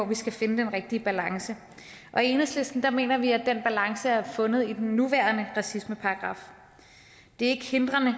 vi skal finde den rigtige balance og i enhedslisten mener vi at den balance er fundet i den nuværende racismeparagraf det er ikke hindrende